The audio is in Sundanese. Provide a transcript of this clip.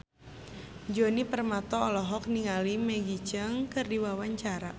Djoni Permato olohok ningali Maggie Cheung keur diwawancara